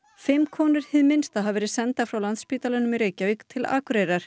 fimm konur hið minnsta hafa verið sendar frá Landspítalanum í Reykjavík til Akureyrar